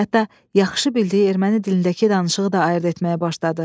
Hətta yaxşı bildiyi erməni dilindəki danışığı da ayırd etməyə başladı.